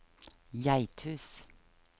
Geithus